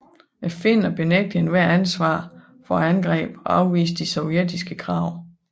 Finnerne benægtede ethvert ansvar for angrebet og afviste de sovjetiske krav